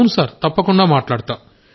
అవును సార్ తప్పకుండా మాట్లాడతా